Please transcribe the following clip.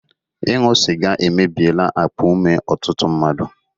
Ịṅụ sịga emebiela akpa ume ọtụtụ mmadụ